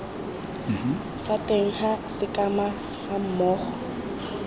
fa teng ga sekema gammogo